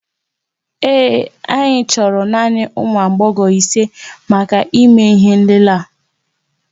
Ee, anyị chọrọ naanị ụmụ agbọghọ isé màkà ìmé ihé nlélé a